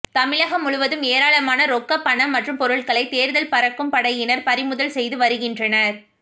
தமிழகம் முழுவதும் ஏராளமான ரொக்கப் பணம் மற்றும் பொருட்களை தேர்தல் பறக்கும் படையினர் பறிமுதல் செய்து வருகின்றனர்